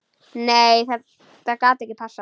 Nei þetta gat ekki passað.